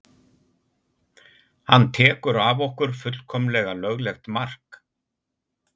Hann tekur af okkur fullkomlega löglegt mark.